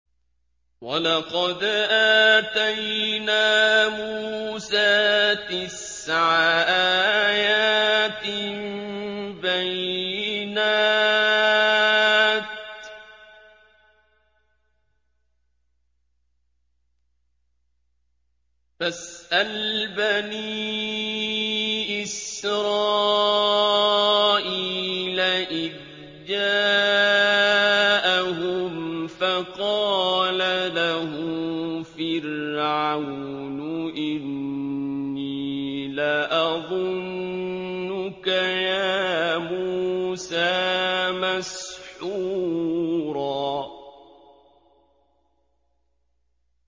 وَلَقَدْ آتَيْنَا مُوسَىٰ تِسْعَ آيَاتٍ بَيِّنَاتٍ ۖ فَاسْأَلْ بَنِي إِسْرَائِيلَ إِذْ جَاءَهُمْ فَقَالَ لَهُ فِرْعَوْنُ إِنِّي لَأَظُنُّكَ يَا مُوسَىٰ مَسْحُورًا